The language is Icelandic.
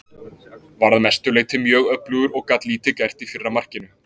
Var að mestu leyti mjög öflugur og gat lítið gert í fyrra markinu.